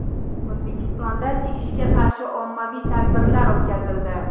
O‘zbekistonda chekishga qarshi ommaviy tadbirlar o‘tkazildi.